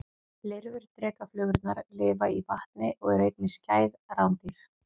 Lirfur drekaflugurnar lifa í vatni og eru einnig skæð rándýr.